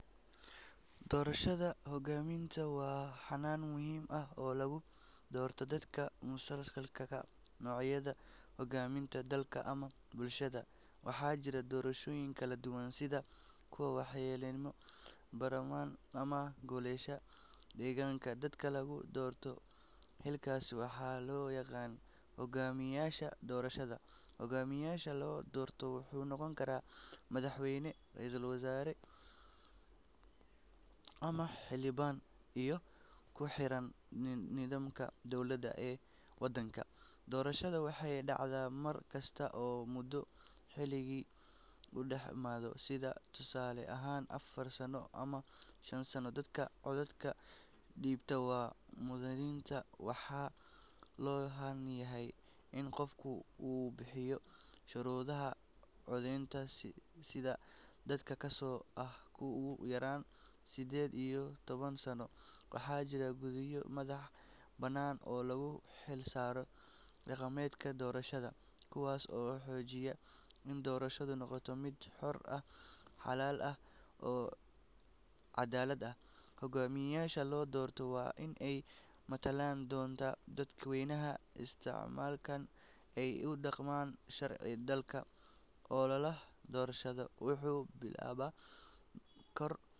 Doorashada hoggaamiyeyaasha waa hanaan muhiim ah oo lagu doorto dadka mas'uulka ka noqonaya hoggaaminta dalka ama bulshada. Waxaa jira doorashooyin kala duwan sida kuwa madaxweynenimo, baarlamaan, ama golayaasha deegaanka. Dadka lagu doorto xilalkaas waxaa loo yaqaan hoggaamiyeyaasha doorashada. Hoggaamiyaha la doorto wuxuu noqon karaa madaxweyne, ra’iisul wasaare ama xildhibaan, iyadoo ku xiran nidaamka dowladeed ee waddanka. Doorashada waxay dhacdaa mar kasta oo muddo xileedkii uu dhamaado, sida tusaale ahaan afar sano ama shan sano. Dadka codkooda dhiibta waa muwaadiniinta, waxaana loo baahan yahay in qofka uu buuxiyo shuruudaha codeynta sida da’da, kaasoo ah ugu yaraan siddeed iyo toban sano. Waxaa jira guddiyo madax bannaan oo loo xilsaaro qabanqaabada doorashada, kuwaas oo xaqiijiya in doorashadu noqoto mid xor ah, xalaal ah, oo caddaalad ah. Hoggaamiyeyaasha la doorto waa in ay matalaan danta dadweynaha, islamarkaana ay ku dhaqmaan sharciga dalka. Ololaha doorashada wuxuu bilaabmaa bilo kahor.